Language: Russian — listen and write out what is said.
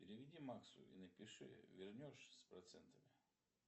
переведи максу и напиши вернешь с процентами